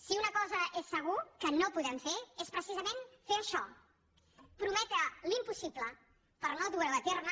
si una cosa és segur que no podem fer és precisament fer això prometre l’impossible per no dur ho a terme